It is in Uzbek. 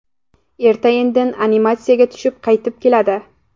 Erta-indin amnistiyaga tushib qaytib keladi.